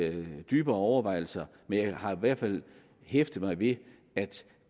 dybere overvejelser men jeg har i hvert fald hæftet mig ved at